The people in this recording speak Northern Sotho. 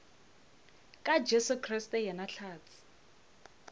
ka jesu kriste yena hlatse